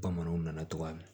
Bamananw nana cogoya min na